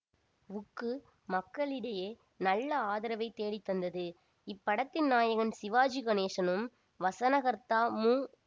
வுக்கு மக்களிடையே நல்ல ஆதரவை தேடி தந்தது இப்படத்தின் நாயகன் சிவாஜி கணேசனும் வசனகர்த்தா மு